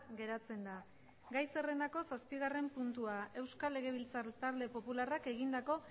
geratzen da gai zerrendako zazpigarren puntua euskal legebiltzar talde popularrak egindako